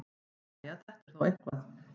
Jæja, þetta er þó eitthvað.